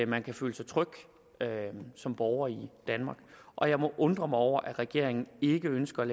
man kan føle sig tryg som borger i danmark og jeg må undre mig over at regeringen ikke ønsker at